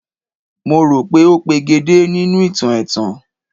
Mo rò pé ó pegedé nínú ìtàn ẹ̀tàn